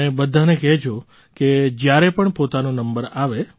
અને બધાને કહેજો કે જ્યારે પણ પોતાનો નંબર આવે